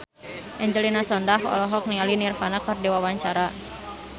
Angelina Sondakh olohok ningali Nirvana keur diwawancara